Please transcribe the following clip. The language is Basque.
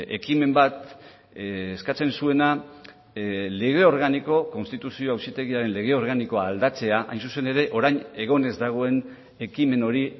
ekimen bat eskatzen zuena lege organiko konstituzio auzitegiaren lege organikoa aldatzea hain zuzen ere orain egon ez dagoen ekimen hori